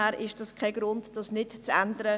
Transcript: Das ist kein Grund, es nicht zu ändern.